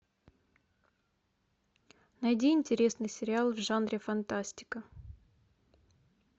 найди интересный сериал в жанре фантастика